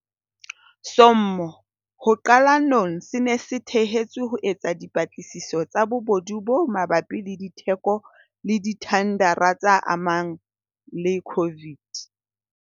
sommo ho qalonong se ne se thehetswe ho etsa dipatlisiso tsa bobodu bo mabapi le ditheko le dithendara tse amanang le COVID.